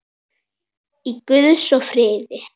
Í guðs friði.